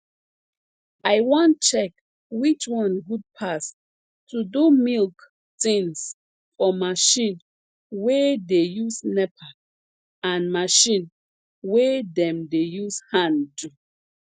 i wan check which one good pass to do milk tins for marchin wey dey use nepa and marchin wey dem dey use hand do